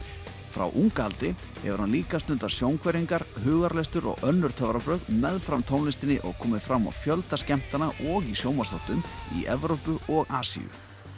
frá unga aldri hefur hann líka stundað sjónhverfingar hugarlestur og önnur töfrabrögð með fram tónlistinni og komið fram á fjölda skemmtana og í sjónvarpsþáttum í Evrópu og Asíu